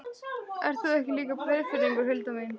Ert þú ekki líka Breiðfirðingur, Hulda mín?